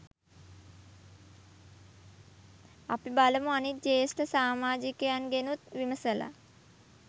අපි බලමු අනිත් ජ්‍යෙෂ්ඨ සාමාජිකයන්ගෙනුත් විමසලා